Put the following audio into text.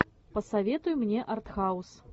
посоветуй мне артхаус